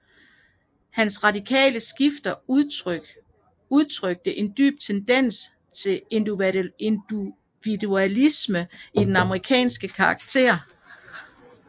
Hans radikale skrifter udtrykte en dyp tendens til individualisme i den amerikanske karakter